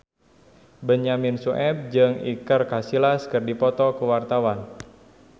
Benyamin Sueb jeung Iker Casillas keur dipoto ku wartawan